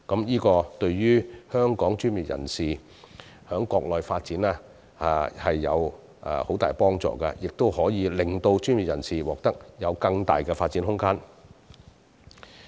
這對於本港專業人士在國內發展有很大幫助，亦可令他們獲得更大的發展空間。